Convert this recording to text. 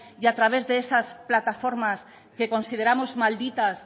y a través de esas plataformas que consideramos malditas